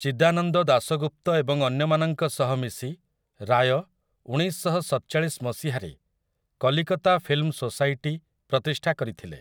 ଚିଦାନନ୍ଦ ଦାସଗୁପ୍ତ ଏବଂ ଅନ୍ୟମାନଙ୍କ ସହ ମିଶି, ରାୟ, ଉଣେଇଶଶହସତଚାଳିଶ ମସିହାରେ, 'କଲିକତା ଫିଲ୍ମ୍ ସୋସାଇଟି' ପ୍ରତିଷ୍ଠା କରିଥିଲେ ।